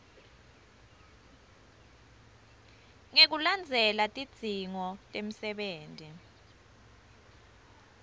ngekulandzela tidzingo temsebenti